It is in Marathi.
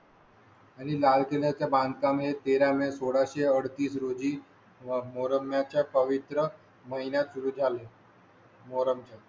आणि लाल किल्या च्या बांधकामे तेरा मे सोळाशे अडतीस रोजीं व मोहरम या च्या पवित्र महिन्यात सुरु झाले. मोर आम चान